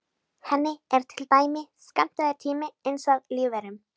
Henni er til dæmis skammtaður tími eins og lífverum.